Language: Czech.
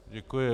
Děkuji.